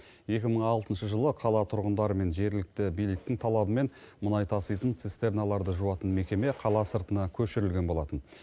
екі мың алтыншы жылы қала тұрғындары мен жергілікті биліктің талабымен мұнай таситын цистерналарды жуатын мекеме қала сыртына көшірілген болатын